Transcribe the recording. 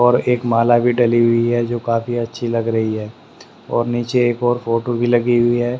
और एक माला भी डली हुई है जो काफी अच्छी लग रही है और नीचे एक और फोटो भी लगी हुई है।